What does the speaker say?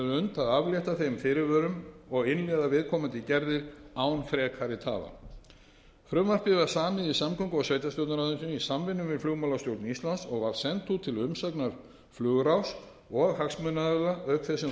að aflétta þeim fyrirvörum og innleiða viðkomandi gerðir án frekari tafa frumvarpið var samið í samgöngu og sveitarstjórnarráðuneytinu í samvinnu við flugmálastjórn íslands og var sent út til umsagnar flugráðs og hagsmunaaðila auk þess sem